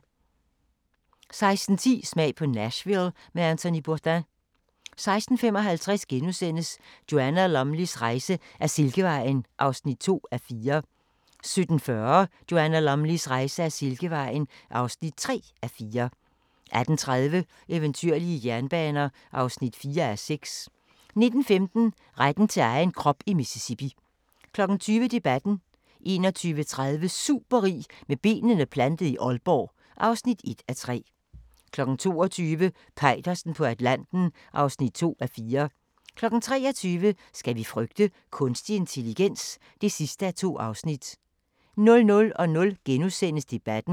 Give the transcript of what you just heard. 16:10: Smag på Nashville med Anthony Bourdain 16:55: Joanna Lumleys rejse ad Silkevejen (2:4)* 17:40: Joanna Lumleys rejse ad Silkevejen (3:4) 18:30: Eventyrlige jernbaner (4:6) 19:15: Retten til egen krop i Mississippi 20:00: Debatten 21:30: Superrig med benene plantet i Aalborg (1:3) 22:00: Peitersen på Atlanten (2:4) 23:00: Skal vi frygte kunstig intelligens? (2:2) 00:00: Debatten *